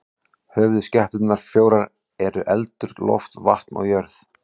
Höfuðskepnurnar fjórar eru eldur, loft, vatn og jörð.